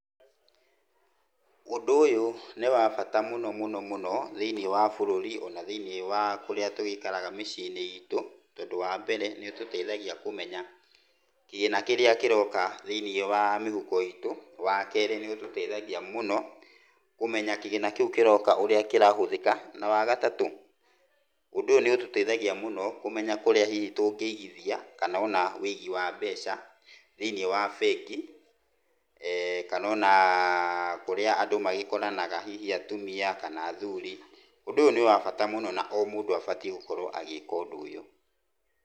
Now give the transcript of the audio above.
Ũndũ ũyũ nĩ wa bata mũno mũno mũno thĩiniĩ wa bũrũri ona thĩiniĩ wa kũrĩa tũgĩikaraga mĩciĩ-inĩ iitũ tondũ wa mbere nĩ ũtũteithagia kũmenya kĩgĩna kĩrĩa kĩroka thĩiniĩ wa mĩhuko itũ. Wa kerĩ nĩ ũtũteithagia mũno kũmenya kĩgĩna kĩu kĩroka ũrĩa kĩrahũthĩka na wa gatatũ ũndũ ũyũ nĩ ũtũteithagia mũno kũmenya kũrĩa hihi tũngĩigithia kana ona ũigi wa mbeca thĩini wa bengi kana ona kũrĩa andũ magĩkoranaga hihi atumia kana athuri. Ũndũ ũyu nĩ wa bata mũno na o mũndũ abatiĩ gũkorwo agĩka ũndũ ũyũ.